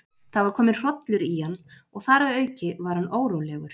Það var kominn hrollur í hann, og þar að auki var hann órólegur.